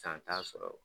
San t'a sɔrɔ